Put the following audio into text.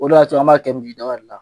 O de y'a to an b'a kɛ misi daba de la.